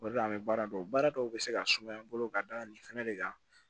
O de la an bɛ baara dɔn baara dɔw bɛ se ka sumaya n bolo ka da nin fɛnɛ de kan